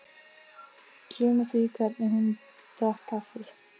Gleyma því hvernig hún drakk kaffið.